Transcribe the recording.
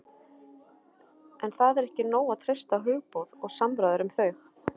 en það er ekki nóg að treysta á hugboð og samræður um þau